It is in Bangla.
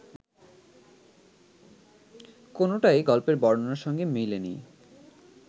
কোনোটাই গল্পের বর্ণনার সঙ্গে মেলেনি